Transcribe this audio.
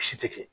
Si tɛ kɛ